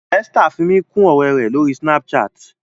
Esther fí mí kún òré rẹ l'ori Snapchat.